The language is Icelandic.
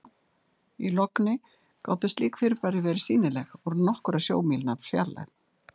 í logni gátu slík fyrirbæri verið sýnileg úr nokkurra sjómílna fjarlægð